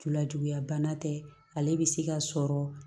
Julajuya bana tɛ ale bɛ se ka sɔrɔ